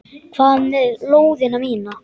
Hvað með lóðina mína!